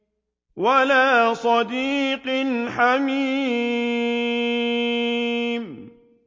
وَلَا صَدِيقٍ حَمِيمٍ